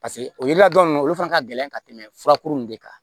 Paseke o yiri ladon ninnu olu fana ka gɛlɛn ka tɛmɛ furakuru nunnu de kan